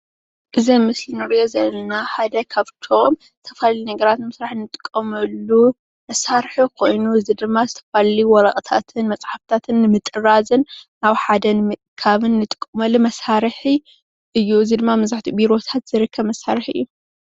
እዚ ኣብ ምስሊ እንሪኦ ዘለና ሓደ ካብቶም ዝተፈላለዩ ነገራት ንምስራሕ እንጥቀመሎም መሳርሒ ኮይኑ እዚ ድማ ዝተፈላለዩ መፅሓፍትታትን ወረቀትታትን ንምጥራዝን ኣብ ሓደ ምእካብን እንጥቀመሉ መሳርሒ እዩ፡፡ እዚ ድማ መብዛሕትኡ ኣብ ቢሮታት ዝርከብ መሳርሒ እዩ፡፡